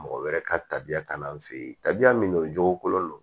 Mɔgɔ wɛrɛ ka tabiya kan'an fe yen tabiya min don o jokolen don